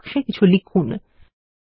text বাক্সে কিছু লিখুন